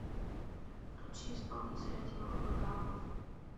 включи исполнителя тимур вагапов